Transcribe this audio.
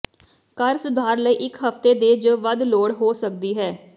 ਘਰ ਸੁਧਾਰ ਲਈ ਇਕ ਹਫਤੇ ਦੇ ਜ ਵੱਧ ਲੋੜ ਹੋ ਸਕਦੀ ਹੈ